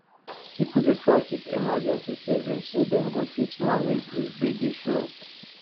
people dey try keep emergency savings so dem go fit manage if gbege show